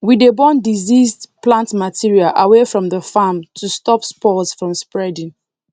we dey burn diseased plant material away from the farm to stop spores from spreading